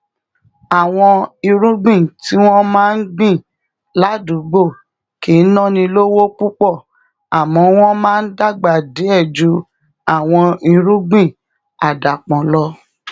àwọn irúgbìn tí wón gbìn ládùúgbò kì náni lówó púpò àmó wón máa dàgbà díè ju àwọn irúgbìn àdàpò lọ